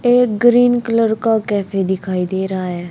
एक green colour का cafe दिखाई दे रहा है।